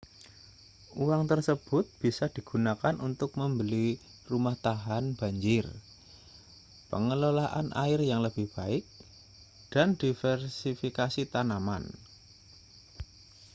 uang tersebut bisa digunakan untuk membeli rumah tahan banjir pengelolaan air yang lebih baik dan diversifikasi tanaman